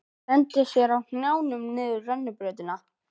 Kvistirnir í veggnum fylgdust með okkur.